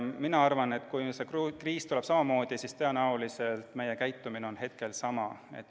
Mina arvan, et kui see kriis tuleb samamoodi, siis tõenäoliselt on meie käitumine sama.